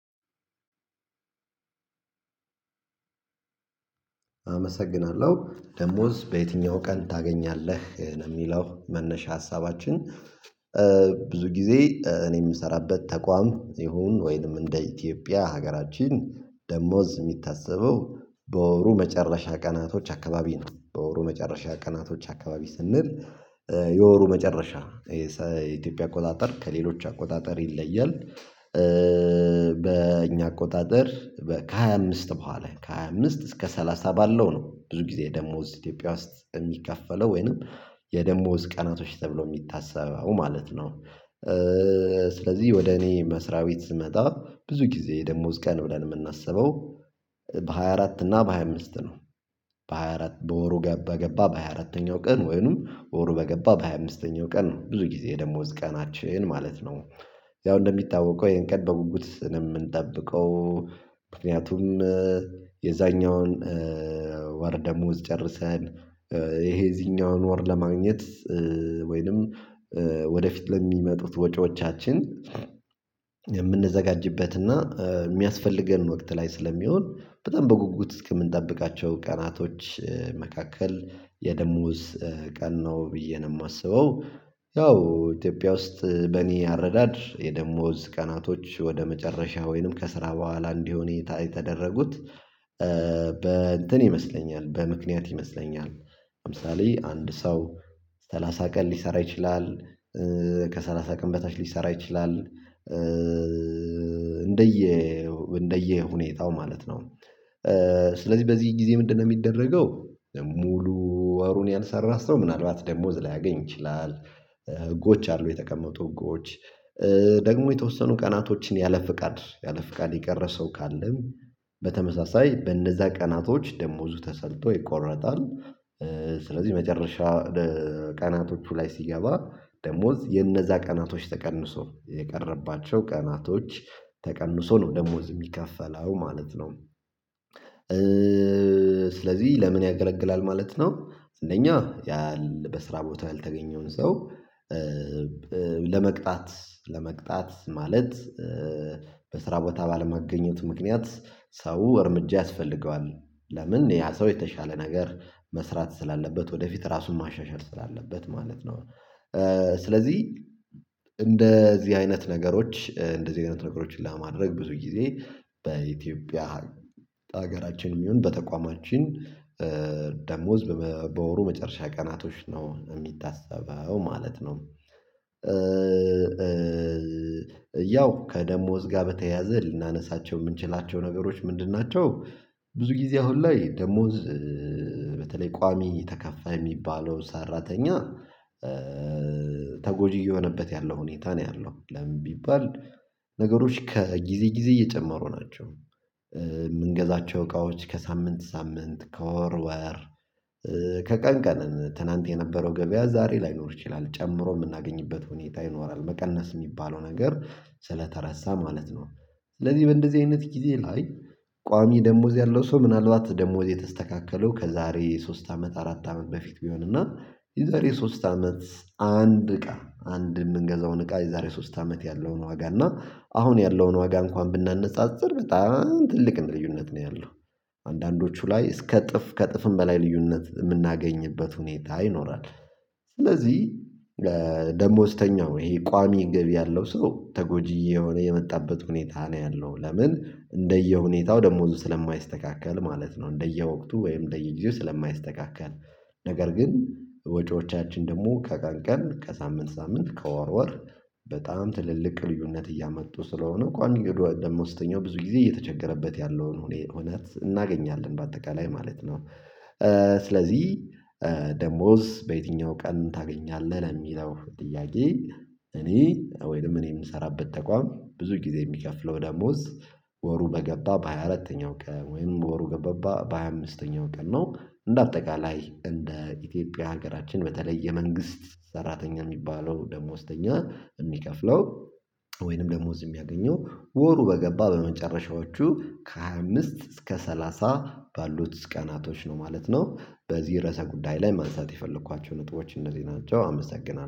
አመሰግናለሁ ደሞዝ በየትኛው ቀን ታገኛለህ ለሚለው መነሻ ሀሳባችን። ብዙ ጊዜ እኔ የምሰራበት ተቋም ይሁን ወይንም እንደ ኢትዮጵያ ሀገራችን ደሞዝ የሚታሰበው በወሩ መጨረሻ ቀናቶች አካባቢ ነው። በወሩ መጨረሻ ቀናቶች አካባቢ ስንል የወሩ መጨረሻ የኢትዮጵያ አቆጣጠር ከሌሎች አቆጣጠር ይለያል። በእኛ አቆጣጠር ከሃያ አምስት በኋላ ከሃያ አምስት እስከ ሰላሳ ባለው ነው። ብዙ ጊዜ ደግሞ እዚህ ኢትዮጵያ ውስጥ የሚከፈለው ወይንም የደሞዝ ቀናቶች ተብሎ የሚታሰበው ማለት ነው። ስለዚህ ወደ እኔ መስሪያ ቤት ስመጣ ብዙ ጊዜ ደሞዝ ቀን ብለን የምናስበው በሃያ አራት እና በሃያ አምስት ነው። በሃያ አራት በወሩ ገባ በገባ በሃያ አራተኛው ቀን ወይንም ወሩ በገባ በሃያ አምስተኛው ቀን ነው ብዙ ጊዜ ደሞዝ ቀናችን ማለት ነው። ያው እንደሚታወቀው ይሄን ቀን በጉጉት ስለምንጠብቀው ምክንያቱም የዛኛውን ወር ደሞዝ ጨርሰን ይሄ የዚኛውን ወር ለማግኘት ወይንም ወደፊት ለሚመጡት ወጪዎቻችን የምንዘጋጅበት እና የሚያስፈልገን ወቅት ላይ ስለሚሆን በጣም በጉጉት ከምንጠብቃቸው ቀናቶች መካከል የደሞዝ ቀን ነው ብዬ ነው የማስበው። ያው ኢትዮጵያ ውስጥ በእኔ አረዳድ የደሞዝ ቀናቶች ወደ መጨረሻ ወይንም ከስራ በኋላ እንዲሆን የተደረጉት። በእንትን ይመስለኛል በምክንያት ይመስለኛል ለምሳሌ አንድ ሰው ሰላሳ ቀን ሊሰራ ይችላል ከሰላሳ ቀን በታች ሊሰራ ይችላል እንደየ እንደየ ሁኔታው ማለት ነው። ስለዚህ በዚህ ጊዜ ምንድነው የሚደረገው ሙሉ ወሩን ያልሰራ ስለው ምናልባት ደሞዝ ላያገኝ ይችላል። ህጎች አሉ የተቀመጡ ህጎች ደግሞ የተወሰኑ ቀናቶችን ያለ ፍቃድ ያለ ፍቃድ የቀረ ሰው ካለም በተመሳሳይ በእነዛ ቀናቶች ደሞዙ ተሰልቶ ይቆረጣል። ስለዚህ መጨረሻ ቀናቶቹ ላይ ሲገባ ደሞዝ የነዛ ቀናቶች ተቀንሶ የቀረባቸው ቀናቶች ተቀንሶ ነው ደሞዝ የሚከፈለው ማለት ነው። ስለዚህ ለምን ያገለግላል ማለት ነው? እንደኛ በስራ ቦታ ያልተገኘውን ሰው ለመቅጣት ለመቅጣት ማለት በስራ ቦታ ባልመገኘቱ ምክንያት ሰው እርምጃ ያስፈልገዋል። ለምን ያ ሰው የተሻለ ነገር መስራት ስላለበት ወደፊት ራሱን ማሻሻል ስላለበት ማለት ነው። ስለዚህ እንደዚህ አይነት ነገሮች እንደዚህ አይነት ነገሮችን ለማድረግ ብዙ ጊዜ በኢትዮጵያ ሀገራችን ይሁን በተቋማችን ደሞዝ በወሩ መጨረሻ ቀናቶች ነው የሚታሰበው ማለት ነው። ያው ከደሞዝ ጋር በተያያዘ ልናነሳቸው የምንችላቸው ነገሮች ምንድን ናቸው? ብዙ ጊዜ አሁን ላይ ደሞዝ በተለይ ቋሚ ተከፋይ የሚባለው ሰራተኛ ተጎጂ የሆነበት ያለው ሁኔታ ነው ያለው ለምን ቢባል። ነገሮች ከጊዜ ጊዜ እየጨመሩ ናቸው። የምንገዛቸው እቃዎች ከሳምንት ሳምንት ከወር ወር ከቀን ቀን ትናንት የነበረው ገበያ ዛሬ ላይኖር ይችላል ጨምሮ የምናገኝበት ሁኔታ ይኖራል መቀነስ የሚባለው ነገር ስለተረሳ ማለት ነው። ስለዚህ በእንደዚህ አይነት ጊዜ ላይ ቋሚ ደሞዝ ያለው ሰው ምናልባት ደሞዝ የተስተካከለው ከዛሬ ሶስት አመት አራት አመት በፊት ቢሆን እና የዛሬ ሶስት አመት አንድ እቃ አንድ የምንገዛውን እቃ የዛሬ ሶስት አመት ያለውን ወጋ እና አሁን ያለውን ዋጋ እንኳን ብናነጻጽር በጣም ትልቅ ልዩነት ነው ያለው። አንዳንዶቹ ላይ እስከ እጥፍ ከእጥፍም በላይ ልዩነት የምናገኝበት ሁኔታ ይኖራል። ስለዚህ ደሞዝተኛው ይሄ ቋሚ ገቢ ያለው ሰው ተጎጂ የሆነ የመጣበት ሁኔታ ነው ያለው ለምን እንደየሁኔታው ደሞዙ ስለማይስተካከል ማለት ነው እንደየወቅቱ ወይም እንደየጊዜው ስለማይስተካከል። ነገር ግን ወጪዎቻችን ደግሞ ከቀን ቀን ከሳምንት ሳምንት ከወር ወር በጣም ትልልቅ ልዩነት እያመጡ ስለሆነ ቋሚ ደሞዝተኛው ብዙ ጊዜ እየተቸገረበት ያለውን እውነት እናገኛለን በአጠቃላይ ማለት ነው። ስለዚህ ደሞዝ በየትኛው ቀን ታገኛለህ? የሚለው ጥያቄ እኔ ወይንም እኔ የምሰራበት ተቋም ብዙ ጊዜ የሚከፍለው ደሞዝ። ወሩ በገባ በሃያ አራተኛው ቀን ወይም በወሩ ገባ በሃያ አምስተኛው ቀን ነው እንደ አጠቃላይ እንደ ኢትዮጵያ ሀገራችን በተለይ የመንግስት ሰራተኛ የሚባለው ደሞዝተኛ የሚከፍለው ወይንም ደሞዝ የሚያገኘው ወሩ በገባ በመጨረሻዎቹ ከሃያ ከምስት እስከ ሰላሳ ባሉት ቀናቶች ነው ማለት ነው። በዚህ ርዕሰ ጉዳይ ላይ ማንሳት የፈለኳቸው ነጥቦች እነዚህ ናቸው። አመሰግናለሁ